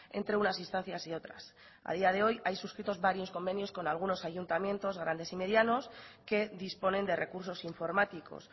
entre unas instancias y otras a día de hoy hay suscritos varios convenios con algunos ayuntamientos grandes y medianos que disponen de recursos informáticos